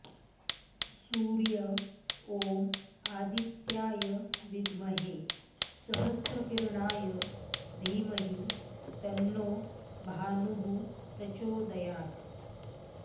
सूर्य ॐ आदित्याय विद्महे सहस्रकिरणाय धीमहि तन्नो भानुः प्रचोदयात्